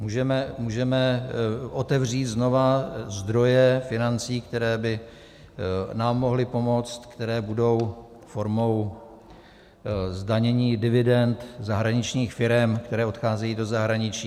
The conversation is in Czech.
Můžeme otevřít znova zdroje financí, které by nám mohly pomoci, které budou formou zdanění dividend zahraničních firem, které odcházejí do zahraničí.